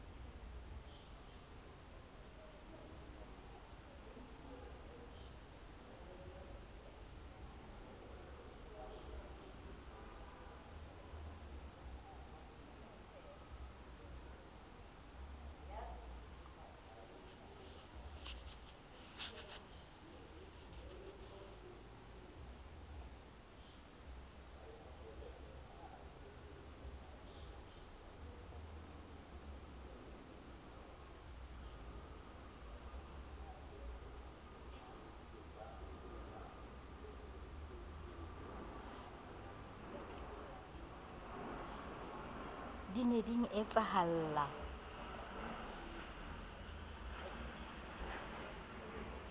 ee di ne di etsahalla